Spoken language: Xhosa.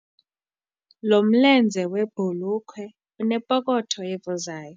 Lo mlenze webhulukhwe unepokotho evuzayo.